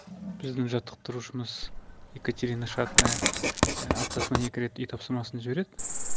біздің жаттықтырушымыз екатерина шатная аптасына екі рет үй тапсырмасын жібереді